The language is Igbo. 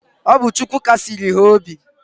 Ọ bu Chukwu Kasiri ha obi.